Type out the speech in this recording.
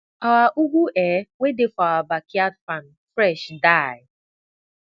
our ugu um wey dey for our backyard farm fresh die